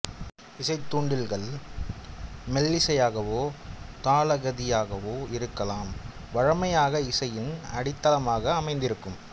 இசைத்தூண்டில்கள் மெல்லிசையாகவோ தாளகதியாகவோ இருக்கலாம் வழமையாக இசையின் அடித்தளமாக அமைந்திருக்கும்